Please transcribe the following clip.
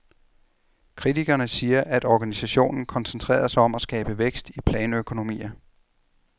Kritikerne siger, at organisationen koncentrerede sig om at skabe vækst i planøkonomier.